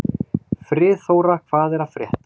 Friðþóra, hvað er að frétta?